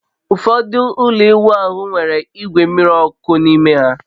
Ụfọdụ ụlọ ịwụ ahụ nwere igwe mmiri ọkụ n'ime ha